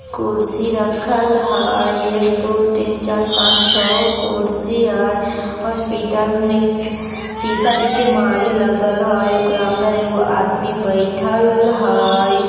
कुर्सी रखल हई | एक दो तीन चार पांच छ कुर्सी हई ओर हॉस्पिटल मे के शीसा के केमारी लगल हई | ओकरा अंदर एगो आदमी बइठल हई |